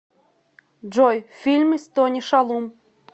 джой фильмы с тони шалум